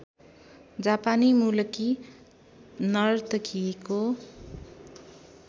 जापानी मूलकी नर्तकीको